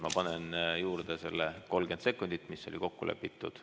Ma panen juurde selle 30 sekundit, mis oli kokku lepitud.